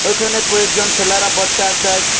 এখানে কয়েকজন ছেলেরা বচে আছে।